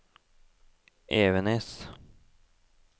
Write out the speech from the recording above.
Evenes